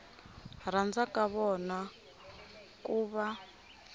rhandza ka vona ku va